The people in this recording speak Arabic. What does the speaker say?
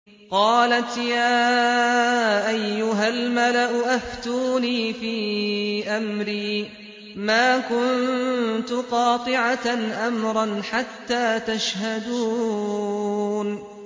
قَالَتْ يَا أَيُّهَا الْمَلَأُ أَفْتُونِي فِي أَمْرِي مَا كُنتُ قَاطِعَةً أَمْرًا حَتَّىٰ تَشْهَدُونِ